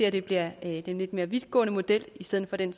at det bliver en lidt mere vidtgående model i stedet for den